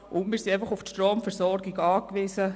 Wir sind einfach auf die Stromversorgung angewiesen.